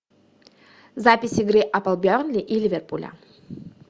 запись игры апл бернли и ливерпуля